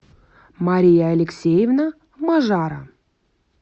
мария алексеевна мажара